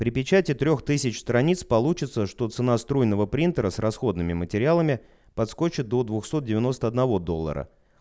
при печати трёх страниц получится что цена струйного принтера с расходными материалами подскочит до двух сот девяносто одного доллара